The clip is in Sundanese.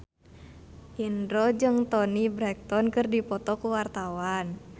Indro jeung Toni Brexton keur dipoto ku wartawan